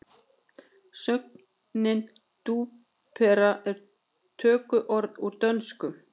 Sögnin túpera er tökuorð úr dönsku